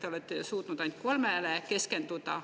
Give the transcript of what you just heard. Te olete suutnud ainult kolmele keskenduda.